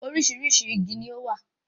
Orísìí igi ni ó wà